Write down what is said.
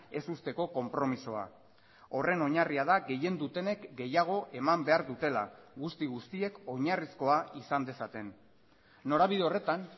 ez uzteko konpromisoa horren oinarria da gehien dutenek gehiago eman behar dutela guzti guztiek oinarrizkoa izan dezaten norabide horretan